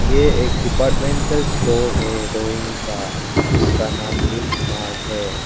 ये एक departmental store है रोइंग का जिसका नाम हिल मार्ट है।